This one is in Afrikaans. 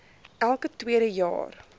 elke tweede jaar